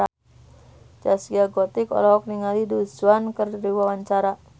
Zaskia Gotik olohok ningali Du Juan keur diwawancara